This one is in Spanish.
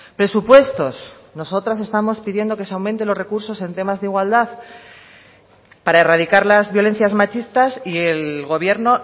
presupuestos nosotras estamos pidiendo que se aumenten los recursos en temas de igualdad para erradicar las violencias machistas y el gobierno